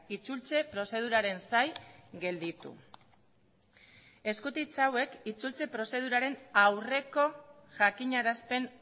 itzultze prozeduraren zain gelditu eskutitz hauek itzultze prozeduraren aurreko jakinarazpen